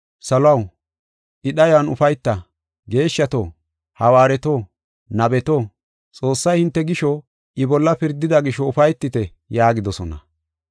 Saluwaw, I dhayuwan ufayta! Geeshshato, hawaareto, nabeto, Xoossay hinte gisho I bolla pirdida gisho ufaytite’ yaagidosona.”